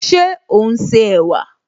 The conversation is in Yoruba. Ṣé ò ún ṣe ẹ̀wà?